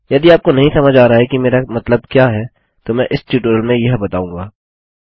यदि आपको नहीं समझ आ रहा है कि मेरा मतलब क्या है तो मैं इस टयूटोरियल में यह बताऊँगा